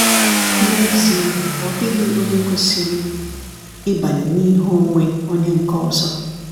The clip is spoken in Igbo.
N'ezie, ọ dịghị onye kwesịrị ịbanye n’ihe onwe onye nke ọzọ.